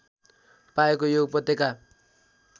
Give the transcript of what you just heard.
पाएको यो उपत्यका